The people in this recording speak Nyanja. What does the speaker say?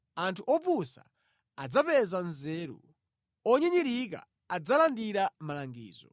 Anthu opusa adzapeza nzeru; onyinyirika adzalandira malangizo.”